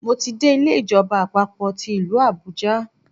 Mo ti dé Ilé ìjọba àpapò ti ìlú Àbújá